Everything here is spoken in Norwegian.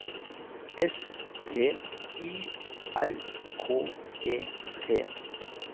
S T Y R K E T